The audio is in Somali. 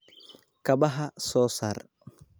Kabaha soo saar.